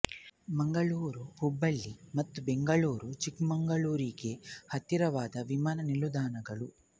ಮಂಗಳೂರು ಹುಬ್ಬಳ್ಳಿ ಮತ್ತು ಬೆಂಗಳೂರು ಚಿಕ್ಕಮಗಳೂರಿಗೆ ಹತ್ತಿರದ ವಿಮಾನ ನಿಲ್ದಾಣಗಳು